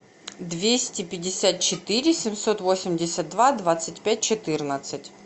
двести пятьдесят четыре семьсот восемьдесят два двадцать пять четырнадцать